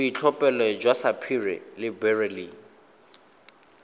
boitlhophelo jwa sapphire le beryl